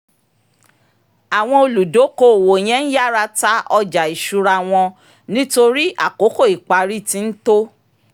àwọn olùdókoòwò yẹn ń yára ta ọjà ìṣura wọn nítorí àkókò ìparí ti ń tó